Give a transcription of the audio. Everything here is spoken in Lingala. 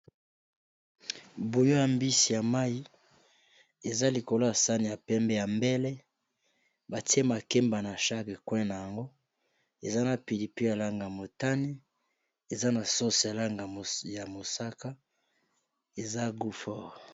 Buyo ya mbisi ya mai eza likolo ya sani ya pembe, ya mbele batie makemba na sarke cuin na yango eza na pili pe alanga motane, eza na sose alanga ya mosaka eza guffor